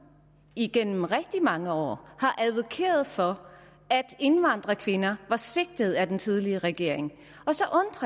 igennem rigtig mange år har advokeret for at indvandrerkvinder var svigtet af den tidligere regering